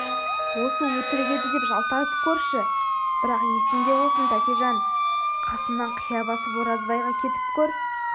осы өтірік еді деп жалтарып көрші бірақ есінде болсын тәкежан қасымнан қия басып оразбайға кетіп көр